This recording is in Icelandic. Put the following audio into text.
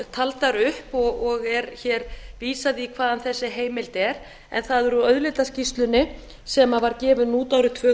taldar upp og er vísað í hvaðan þessi heimild er en það er úr auðlindaskýrslunni sem var gefin út árið tvö